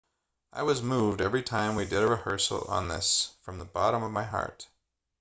i was moved every time we did a rehearsal on this from the bottom of my heart